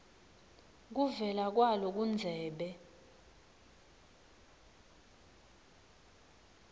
kuvela kwalo kundzebe